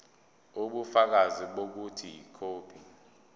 ubufakazi bokuthi ikhophi